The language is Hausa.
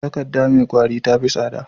Takadda me kwari tafi tsada